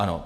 Ano.